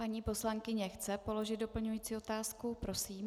Paní poslankyně chce položit doplňující otázku, prosím.